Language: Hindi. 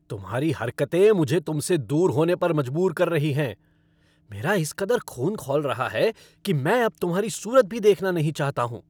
तुम्हारी हरकतें मुझे तुमसे दूर होने पर मजबूर कर रही हैं। मैेरा इस कदर खून खौल रहा है कि मैं अब तुम्हारी सूरत भी देखना नहीं चाहता हूँ।